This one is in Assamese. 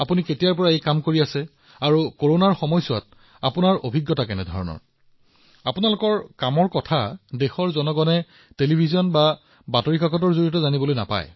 আপুনি কিমান দিন ধৰি এই কামটো কৰি আছে আৰু কৰোনাৰ সময়ত আপুনি কি অনুভৱ কৰিছে কিয়নো দেশৰ মানুহে ইয়াক টিভি বা বাতৰি কাকতত নেদেখে